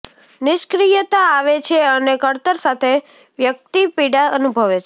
નિષ્ક્રિયતા આવે છે અને કળતર સાથે વ્યક્તિ પીડા અનુભવે છે